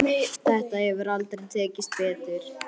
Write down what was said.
Þetta hefur aldrei tekist betur.